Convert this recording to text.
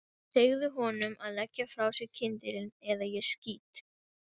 Ég verð að ná tali af Garðari.